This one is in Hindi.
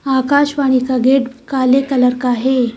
आकाशवाणी का गेट काले कलर का है।